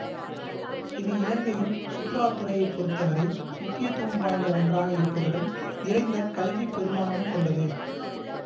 இது இலங்கையின் சுற்றுலா துறையைப் பொறுத்தவரை முக்கியத்துவம் வாய்ந்த ஒன்றாக இருப்பதுடன் நிறைந்த கல்வி பெறுமானமும் கொண்டது